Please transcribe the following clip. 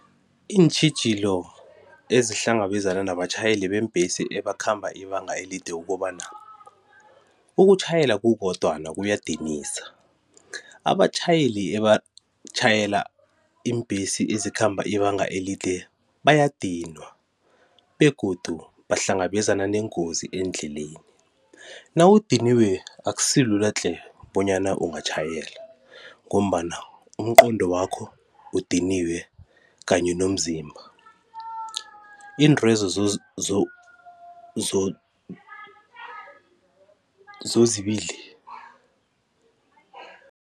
Iintjhijilo ezihlangabezana nabatjhayeli beembhesi ebakhamba ibanga elide kukobana ukutjhayela kukodwana kuyadinisa abatjhayeli ebatjhayela iimbhesi ezikhamba ibanga elide bayadinwa begodu bahlangabezana neengozi eendleleni. Nawudiniwe akusilula tle bonyana ungatjhayela ngombana umqondo wakho udiniwe kanye nomzimba iintwezo zozibili